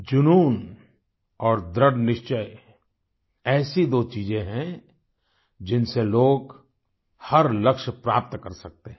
जुनून और दृढ़निश्चय ऐसी दो चीजें हैं जिनसे लोग हर लक्ष्य प्राप्त कर सकते हैं